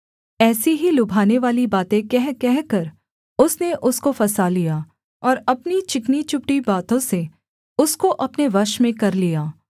ऐसी ही लुभानेवाली बातें कह कहकर उसने उसको फँसा लिया और अपनी चिकनी चुपड़ी बातों से उसको अपने वश में कर लिया